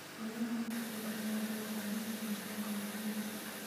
Beeraha casriga ahi waxay u baahan yihiin tignoolajiyada.